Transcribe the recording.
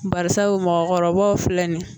Barisabu mɔgɔkɔrɔbaw filɛ nin ye